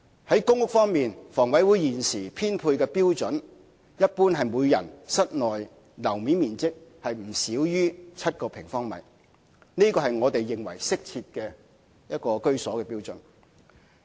在公屋方面，房委會現時的編配標準一般是人均室內樓面面積不少於7平方米。我們認為這是適切居所的標準。